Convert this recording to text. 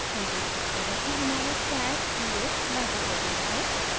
हम देख सकते हैं कि हमारा stash @{0} लागू हो गया है